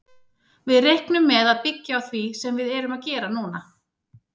Við reiknum með að byggja á því sem við erum að gera núna.